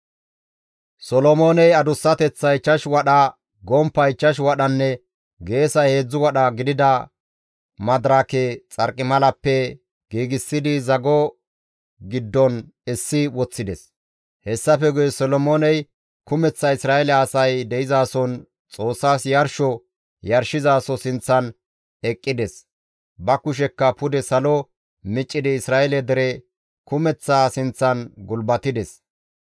Solomooney adussateththay 5 wadha, gomppay 5 wadhanne geesay 3 wadha gidida madirake xarqimalappe giigsidi zago giddon essi woththides. Hessafe guye Solomooney kumeththa Isra7eele asay de7izason Xoossas yarsho yarshizaso sinththan eqqides; ba kushekka pude salo miccidi Isra7eele dere kumeththaa sinththan gulbatides.